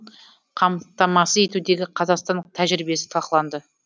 қамтамасыз етудегі қазақстан тәжірибесі талқыланды